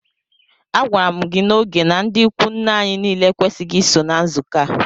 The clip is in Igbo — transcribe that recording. A gwara mụ gị na ógè na ndị ịkwụ nne anyị niile ekwesighi iso na nzukọ a!!!